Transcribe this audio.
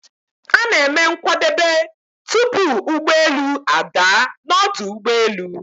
A na-eme nkwadebe, tupu ụgbọelu a daa n'ọdu ụgbọelu